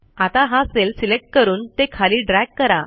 आता हा cell select करून ते खाली ड्रॅग करा